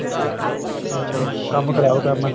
ਅਹ ਕੰਮ ਖ਼ਰਾਬ ਕਰਨਾ